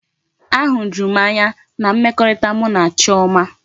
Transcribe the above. Ahujuru m anya na mmekọrịta mụ na Chioma.